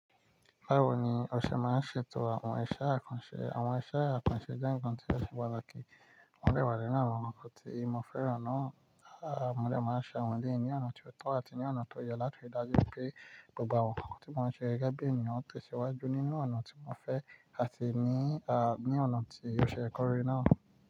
Báwo ni ọṣẹ máa ń ṣètò àwọn iṣẹ́ àkànṣe? Àwọn iṣẹ́ àkànṣe jẹ́ ǹkan tí o ṣe pataki, wọ́n dè wà nínú àwọn ǹkan tí mo fẹ́ran náà. À mode máa ń ṣe àwọn léyi ní ọ̀nà tí ó tọ́ àti ní ọ̀nà tó yẹ láti ri dájú pé gbogbo àwọn ǹkan tí mo ń ṣe gẹ́gẹ́ bí ènìyàn ó tẹ̀síwájú nínú ọ̀nà tí mo fẹ́ àti ní, ní ọ̀nà tí ó ṣe é kọ́ri náà.